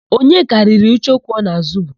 Onyeka riri icheoku ọ na-ázụ̀bu.